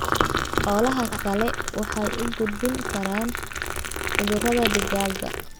Xoolaha kale waxay u gudbin karaan cudurrada digaagga.